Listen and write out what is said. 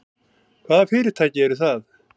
Hvaða fyrirtæki eru það?